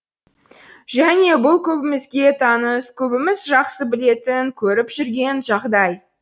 және бұл көбімізге таныс көбіміз жақсы білетін көріп жүрген жағдай